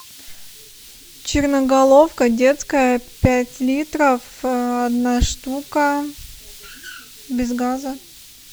черноголовка детская пять литров одна штука без газа